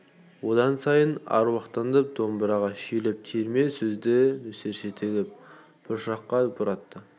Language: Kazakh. одан сайын аруақтанып домбыраға шүйлігіп терме сөзді нөсерше төгіп бұршақша боратты